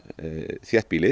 þéttbýlið